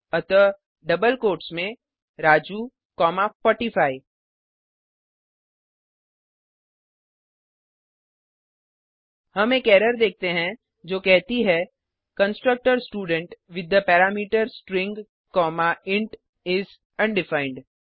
अतः double quotes में Raju comma 45 हम एक एरर देखते हैं जो कहती है constructor student with the parameter string comma int is undefined